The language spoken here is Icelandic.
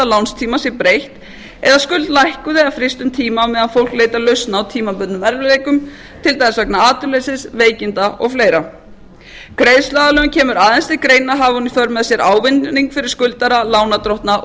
lánstíma sé breytt eða skuld lækkuð eða fryst um tíma á meðan fólk leitar lausna á tímabundnum erfiðleikum til dæmis vegna atvinnuleysis veikinda og fleira greiðsluaðlögun kemur aðeins til greina hafi hún í för með sér ávinning fyrir skuldara lánardrottna og